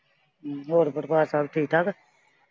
ਹੋਰ ਪਰਿਵਾਰ ਸਭ ਠੀਕ ਠਾਕ।